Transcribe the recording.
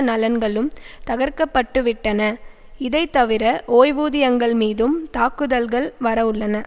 நலன்களும் தகர்க்கப்பட்டுவிட்டன இதைத்தவிர ஓய்வூதியங்கள்மீதும் தாக்குதல்கள் வரவுள்ளன